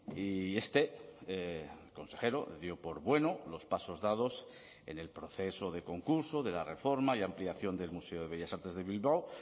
y este consejero dio por bueno los pasos dados en el proceso de concurso de la reforma y ampliación del museo de bellas artes de bilbao